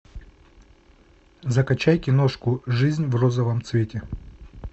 закачай киношку жизнь в розовом цвете